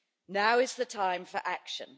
Now is the time for action.